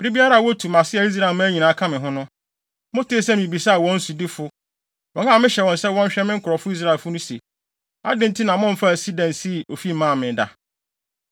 Bere biara a wotu mʼase a Israelman nyinaa ka me ho no, motee sɛ mibisaa wɔn sodifo, wɔn a mehyɛ wɔn sɛ wɔnhwɛ me nkurɔfo Israelfo no se, “Adɛn nti na momfaa sida nsii ofi mmaa me da?” ’